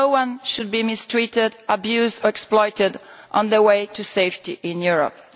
No one should be mistreated, abused or exploited on their way to safety in Europe.